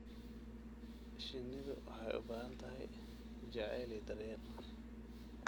Shinnidu waxay u baahan tahay jacayl iyo daryeel.